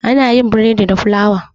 Ana yin bredi da fulawa.